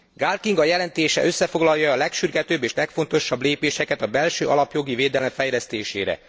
Gál Kinga jelentése összefoglalja a legsürgetőbb és legfontosabb lépéseket a belső alapjogi védelem fejlesztésére.